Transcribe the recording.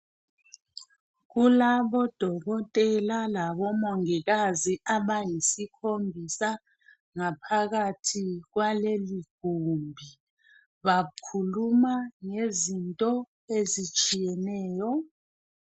Kulabo dokotela labo mongikazi abayisikhombisa ngaphakathi kwaleli gumbi bakhuluma ngezinto ezitshiyeneyo.